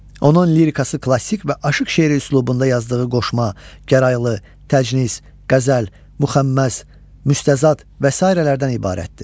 Onun lirika, klassik və aşıq şeiri üslubunda yazdığı qoşma, gəraylı, təcnis, qəzəl, müxəmməs, müstəzad və sairələrdən ibarətdir.